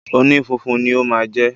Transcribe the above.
Onífunfun ni ó máa jẹ́